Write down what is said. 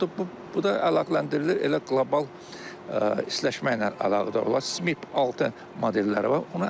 Bu da əlaqələndirilir elə qlobal istiləşməklə əlaqədə olan 6 modelləri var.